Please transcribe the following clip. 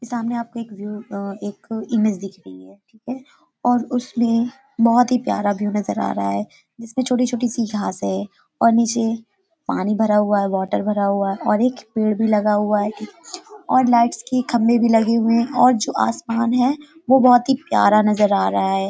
ये सामने आपको एक व्यू अ एक इमेज दिख रही है ठीक है और उसमे बहुत ही प्यारा व्यू नजर आ रहा है जिसमें छोटी-छोटी सी घास है और नीचे पानी भरा हुआ है बोतल भरा हुआ है और एक पेड़ भी लगा हुआ है और लाइट्स की खंबे भी लगे हुए हैं और जो आसमान है वो बहुत ही प्यार नजर आ रहा है ।